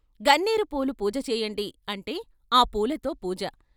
' గన్నేరు పూలు పూజ చేయండి ' అంటే ఆ పూలతో పూజ.